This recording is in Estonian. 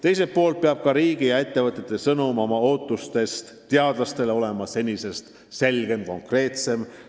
Teiselt poolt peab ka riigi ja ettevõtete sõnum, mida nad teadlastelt ootavad, olema selgem, konkreetsem.